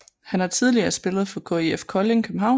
Han har tidligere spillet for KIF Kolding København